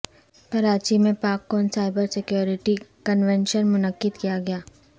کراچی میں PakCon cyber security convention منعقد کیا گیا